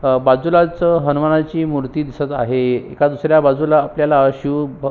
अ बाजूला हनुमानाची मूर्ती दिसत आहे एका दुसऱ्या आपल्याला शिव ब--